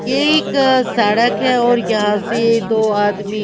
ये एक सड़क है और यहां से दो आदमी--